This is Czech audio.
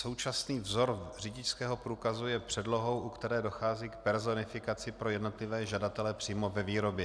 Současný vzor řidičského průkazu je předlohou, u které dochází k personifikaci pro jednotlivé žadatele přímo ve výrobě.